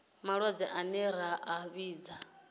malwadze ane ra a vhidza